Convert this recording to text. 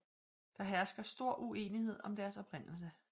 Der hersker stor uenighed om deres oprindelse